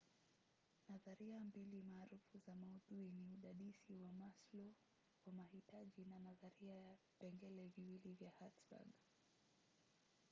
nadharia mbili maarufu za maudhui ni udadisi wa maslow wa mahitaji na nadharia ya vipengele viwili ya hertzberg